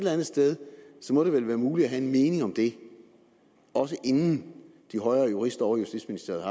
andet sted må det vel være muligt at have en mening om det også inden de højere jurister ovre i justitsministeriet